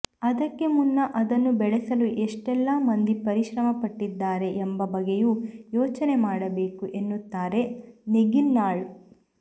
ಅದಕ್ಕೆ ಮುನ್ನ ಅದನ್ನು ಬೆಳೆಸಲು ಎಷ್ಟೆಲ್ಲ ಮಂದಿ ಪರಿಶ್ರಮಪಟ್ಟಿದ್ದಾರೆ ಎಂಬ ಬಗ್ಗೆಯೂ ಯೋಚನೆ ಮಾಡಬೇಕು ಎನ್ನುತ್ತಾರೆ ನೇಗಿನ್ಹಾಳ್